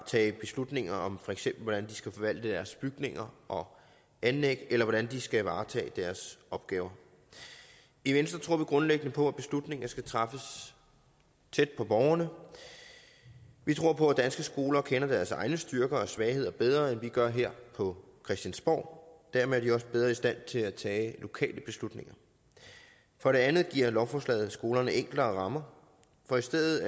tage beslutninger om for eksempel skal forvalte deres bygninger og anlæg eller hvordan de skal varetage deres opgaver i venstre tror vi grundlæggende på at beslutninger skal træffes tæt på borgerne vi tror på at danske skoler kender deres egne styrker og svagheder bedre end vi gør her på christiansborg og dermed er de også bedre i stand til at tage lokale beslutninger for det andet giver lovforslaget skolerne enklere rammer for i stedet